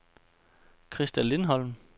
Christa Lindholm